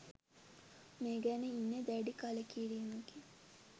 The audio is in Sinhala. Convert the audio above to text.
මේ ගැන ඉන්නේ දැඩි කළකිරීමකින්